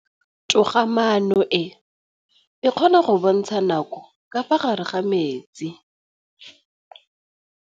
Toga-maanô e, e kgona go bontsha nakô ka fa gare ga metsi.